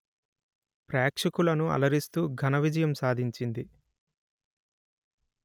ప్రేక్షకులను అలరిస్తూ ఘనవిజయం సాధించింది